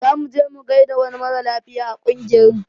Zamu je mu gaida wani mara lafiya a ƙungiyar mu